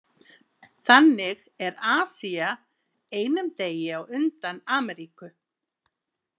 Þannig er Asía einum degi á undan Ameríku.